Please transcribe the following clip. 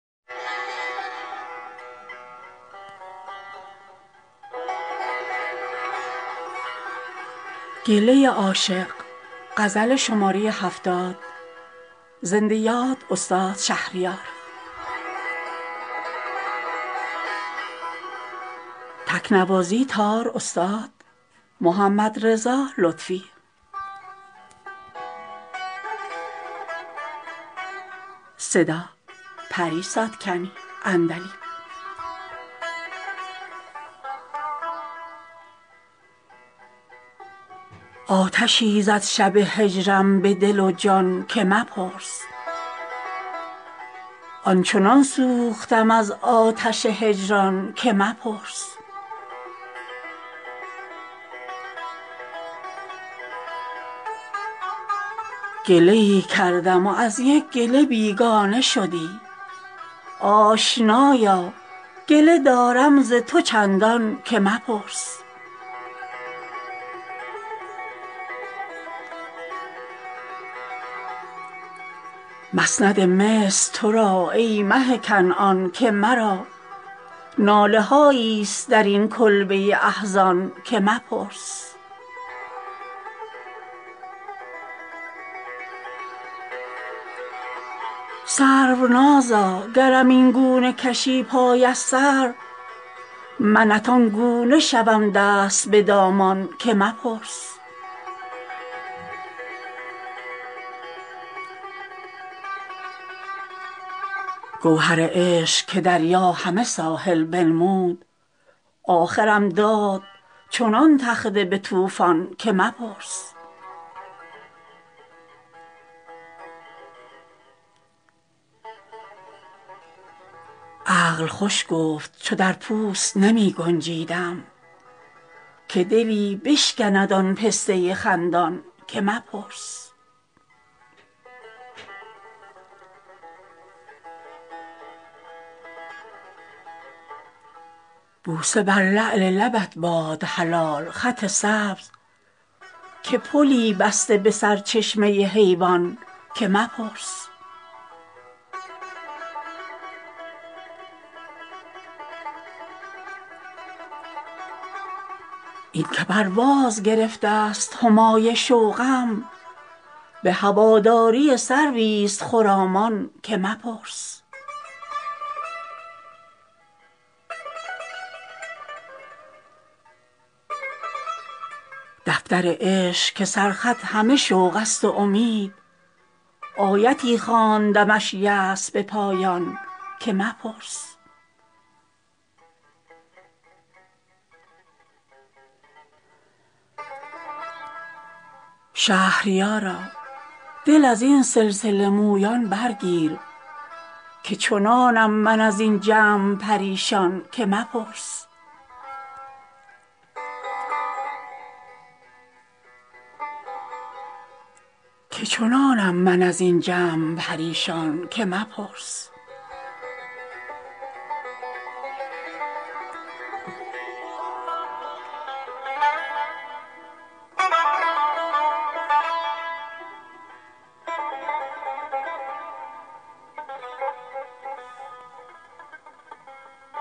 آتشی زد شب هجرم به دل و جان که مپرس آن چنان سوختم از آتش هجران که مپرس گله ای کردم و از یک گله بیگانه شدی آشنایا گله دارم ز تو چندان که مپرس مسند مصر ترا ای مه کنعان که مرا ناله هایی است در این کلبه احزان که مپرس سرونازا گرم اینگونه کشی پای از سر منت آنگونه شوم دست به دامان که مپرس گوهر عشق که دریا همه ساحل بنمود آخرم داد چنان تخته به طوفان که مپرس عقل خوش گفت چو در پوست نمی گنجیدم که دلی بشکند آن پسته خندان که مپرس بوسه بر لعل لبت باد حلال خط سبز که پلی بسته به سر چشمه حیوان که مپرس این که پرواز گرفته است همای شوقم به هواداری سرویست خرامان که مپرس دفتر عشق که سر خط همه شوق است و امید آیتی خواندمش از یاس به پایان که مپرس شهریارا دل از این سلسله مویان برگیر که چنانم من از این جمع پریشان که مپرس